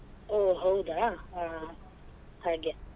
ಹೊ ಹೌದ ಹಾ ಹಾಗೆ.